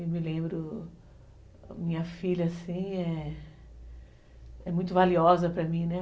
Eu me lembro, minha filha, assim, é muito valiosa para mim, né?